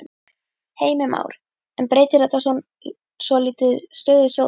Heimir Már: En breytir þetta svona svolítið stöðu sjóðsins?